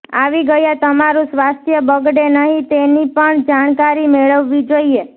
આવી ગયા તમારૂ સ્વાસ્થ્ય બગડે નહીં તેની પણ જાણકારી મેળવવી જોઈએ